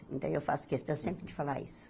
E daí, eu faço questão sempre de falar isso.